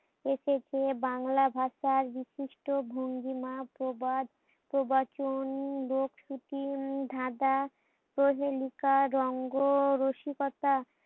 এ থেকে বাংলা ভাষার বিশিষ্ট ভঙ্গিমা প্রবাদ প্রবচন লোক সুতি ধাঁদা কুহেলিকা রঙ্গ রসিকতা